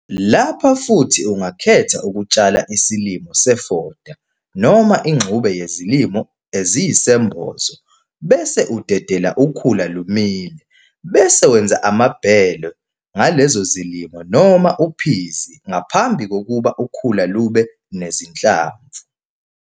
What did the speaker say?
Lapha futhi ungakhetha ukutshala isilimo sefoda noma ingxube yezilimo eziyisembozo bese udedela ukhula lumile bese wenza amabhele ngalezo zilimo noma uphizi ngaphambi kokuba ukhula lube nezinhlamvu.